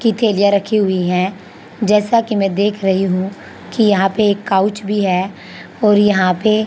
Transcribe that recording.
की थैलियां रखी हुई है जैसा कि मैं देख रही हूं कि यहां पर एक काउच भी है और यहां पर --